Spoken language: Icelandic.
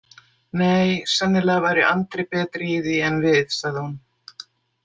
Nei, sennilega væri Andri betri í því en við, sagði hún.